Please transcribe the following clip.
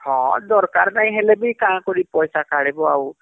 ହଁ ଦରକାର ନାଇଁ ହେଲେବି କାଁ କରି ପଇସା କାଢବ